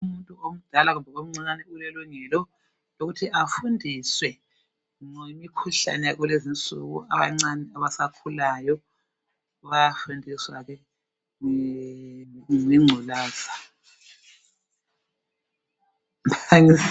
Umuntu omdala kumbe omncane ulelungelo, lokuthi afundiswe ngemikhuhlane yalulezi insuku. Abancane, abasakhulayo, bayafundiswa ke, ngengculaza.